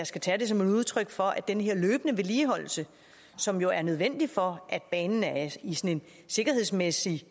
skal tages som udtryk for at den løbende vedligeholdelse som jo er nødvendig for at banen sikkerhedsmæssigt